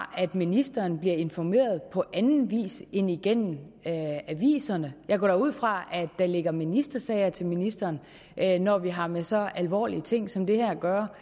at ministeren bliver informeret på anden vis end igennem aviserne jeg går da ud fra at der ligger ministersager til ministeren når vi har med så alvorlige ting som det her at gøre